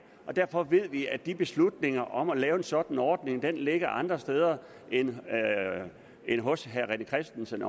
derfor ved vi at de beslutninger om at lave en sådan ordning ligger andre steder end hos herre rené christensen